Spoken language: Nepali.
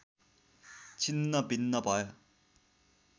छिन्न भिन्न भयो